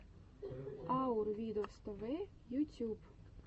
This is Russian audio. аур видос тв ютюб